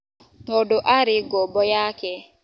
Tondũ arĩ ngombo yake.